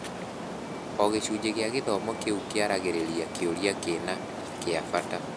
O gĩcunjĩ gĩa gĩthomo kĩu kĩaragĩrĩria kĩũria kĩna kĩa bata.